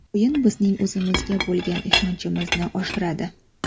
O‘yin bizning o‘zimizga bo‘lgan ishonchimizni oshiradi.